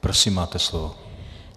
Prosím, máte slovo.